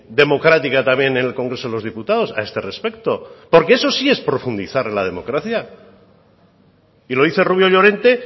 democrática también en el congreso de los diputados a este respecto porque eso sí es profundizar en la democracia y lo dice rubio llorente